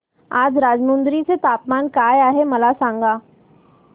आज राजमुंद्री चे तापमान काय आहे मला सांगा